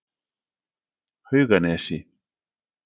Hauganesi